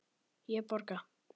Ég borga.